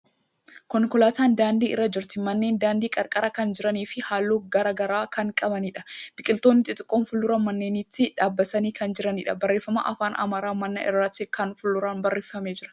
Konkolaatan daandii irra jirti. Manneen daandii qarqara kan jiranii fi haalluu garagaraa kan qabaniidha. Biqiltootni xixiqqoon fuuldura manneenitti dhaabbatanii kan jiraniidha. Barreeffamni afaan Amaariffaa mana irratti gara fuulduraan barreeffamee jira.